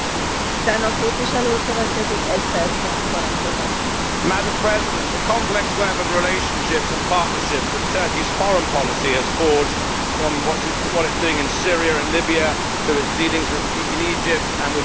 Madam President, the complex web of relationships and partnerships that Turkey's foreign policy has forged from what it is doing in Syria and Libya to its dealings in Egypt and with Israel in the last couple of years has become almost incomprehensible.